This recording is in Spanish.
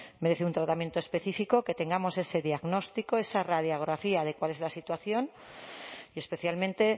merece un tratamiento específico que tengamos ese diagnóstico esa radiografía de cuál es la situación y especialmente